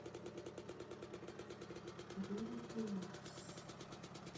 вероника марс